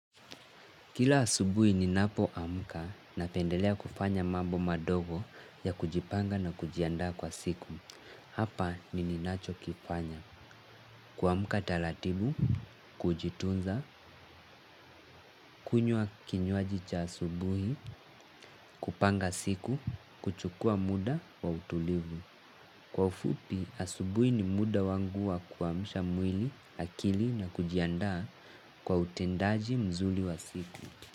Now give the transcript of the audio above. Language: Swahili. Kila asubuhi ninapoamka napendelea kufanya mambo madogo ya kujipanga na kujiandaa kwa siku. Hapa ni ninachokifanya. Kuamka taratibu, kujitunza, kunywa kinywaji cha asubuhi, kupanga siku, kuchukua muda wa utulivu. Kwa ufupi, asubuhi ni muda wangu wa kuamsha mwili, akili na kujiandaa kwa utendaji mzuri wa siku.